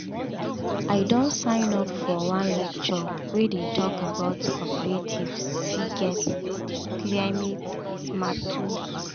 i don sign up for one lecture wey dey talk about cooperatives fit get climate-smart tools.